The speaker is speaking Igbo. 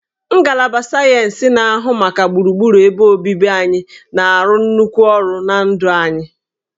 Ngalaba sayensị na-ahụ maka gburugburu ebe obibi na-arụ nnukwu ọrụ na ndụ anyị